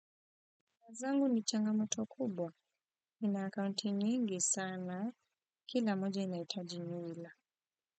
Zangu ni changa moto kubwa nina akaunti nyingi sana kila moja inahitaji nywila.